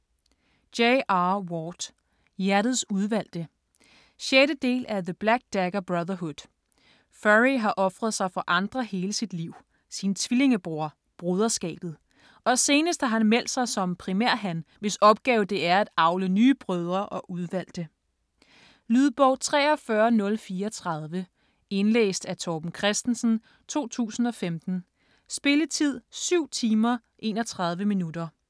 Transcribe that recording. Ward, J. R.: Hjertets udvalgte 6. del af The black dagger brotherhood. Phury har ofret sig for andre hele sit liv: sin tvillingebror, broderskabet. Og senest har han meldt sig som primærhan, hvis opgave det er at avle nye brødre og udvalgte. Lydbog 43034 Indlæst af Torben Christensen, 2015. Spilletid: 7 timer, 31 minutter.